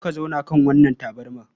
Zo ka zauna kan wannan tabarma.